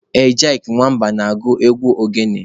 Ejyk Nwamba na-agụ egwu ogene.